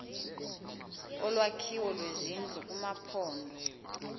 olwakhiwo lwezindlu kumaphondo